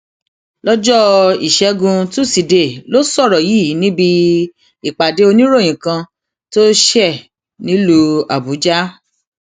lọjọ ìṣẹgun tusidee ló sọrọ yìí níbi ìpàdé oníròyìn kan tó ṣe nílùú àbújá